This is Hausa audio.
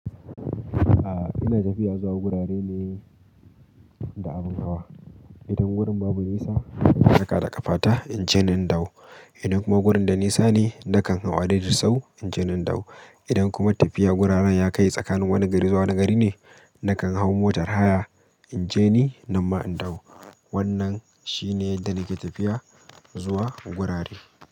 A'a ina tafiya zuwa gurare ne da abin hawa. Idan wurin babu nisa na taka da ƙafata in je nan da wu. Idan kuma wurin da nisa ne nakan hau a daidait sauwu in je nan da wu. Idan kuma tafiya gurarren ya kai tsakanin wani gari zuwa wani gari ne, nakan hau motar haya in je ni, nan ma in dawo. Wannan shine yadda nake tafiya zuwa gurare.